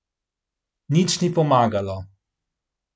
Nič ni pomagalo.